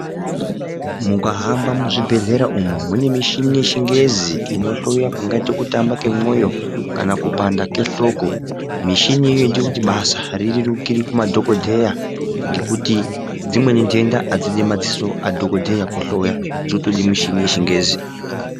Mukahamba muzvibhedhlera umo mune michini yechingezi inohloya kungaite kutamba kwemwoyo kupanda kwehloko. Michini iyoyo inoita kuti basa rirerukire kumadhokodheya. Ngekuti dzimweni nhenda hadzidi madzoso adhokodheya kuhloya dzotode muchini yechingezi.